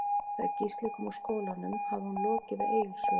Þegar Gísli kom úr skólanum hafði hún lokið við Egils sögu.